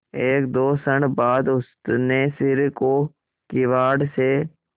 एकदो क्षण बाद उसने सिर को किवाड़ से